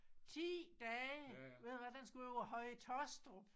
10 dage ved du hvad den skulle over Høje Taastrup